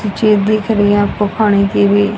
चीजें दिख रही आपको खाने की भी।